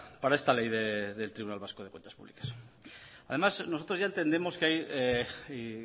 para esta ley del tribunal vasco de cuentas públicas además nosotros ya entendemos que